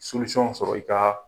sɔrɔ i ka